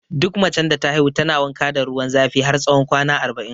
Duk macen da ta haihu tana wanka da ruwan zafi har tsawon kwana arba'in